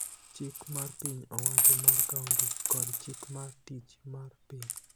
chik mar piny owacho mar kaonti, kod chik mar tich mar piny